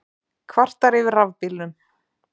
Kvartar yfir rafbílnum